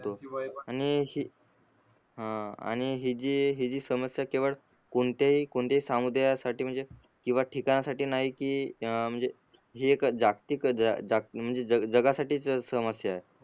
आणि हि ह आणि हि जी हि जी समस्या केवळ कोणत्याही कोणत्याही समुद्यासाठी म्हणजे किंवा ठिकाणासाठी नाही कि म्हणजे हि एक जागतिक जाग म्हणजे जागा साठी समस्या आहे